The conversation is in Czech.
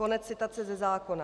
Konec citace ze zákona.